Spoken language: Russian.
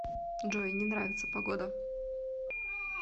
джой не нравится погода